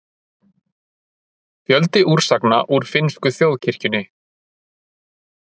Fjöldi úrsagna úr finnsku þjóðkirkjunni